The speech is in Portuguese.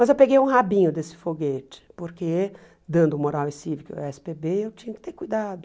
Mas eu peguei um rabinho desse foguete, porque, dando moral e cívico ó esse pê bê, eu tinha que ter cuidado.